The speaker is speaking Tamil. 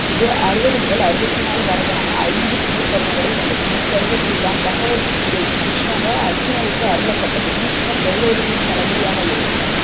இது அறுவது முதல் அறுவத்தி நாலு வரையான ஐந்து துணைப் பர்வங்களைக் கொண்டது இப்பருவத்தில் தான் பகவத் கீதை கிருஷ்ணரால் அருச்சுனனுக்கு அருளப்பட்டது பீஷ்மர் கௌரவர்களின் தளபதியாக இருந்து